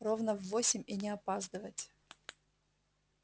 ровно в восемь и не опаздывать